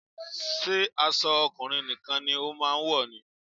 Ṣé aṣọ ọkùnrin nìkan ni o máa ń wọ̀ ni?